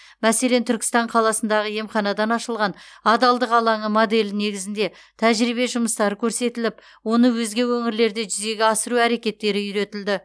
мәселен түркістан қаласындағы емханадан ашылған адалдық алаңы моделі негізінде тәжірибе жұмыстары көрсетіліп оны өзге өңірлерде жүзеге асыру әрекеттері үйретілді